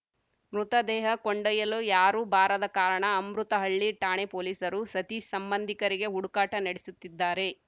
ಮೃತದೇಹ ಕೊಂಡೊಯ್ಯಲು ಯಾರು ಬಾರದ ಕಾರಣ ಅಮೃತಹಳ್ಳಿ ಠಾಣೆ ಪೊಲೀಸರು ಸತೀಶ್‌ ಸಂಬಂಧಿಕರಿಗೆ ಹುಡುಕಾಟ ನಡೆಸುತ್ತಿದ್ದಾರೆ